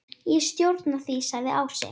Ég stjórna því, sagði Ási.